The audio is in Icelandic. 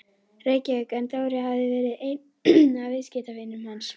Reykjavík en Dóri hafði verið einn af viðskiptavinum hans.